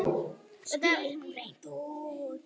spyr hún hreint út.